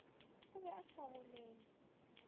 o be a sa golole